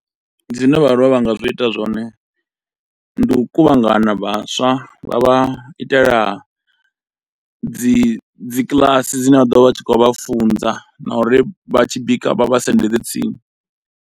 Zwine vhaaluwa vha nga zwi ita zwone ndi u kuvhangana vhaswa vha vha itela dzi dzi kiḽasi dzine vha ḓo vha vha tshi khou vha funza na uri vha tshi bika vha vha sendedze tsini.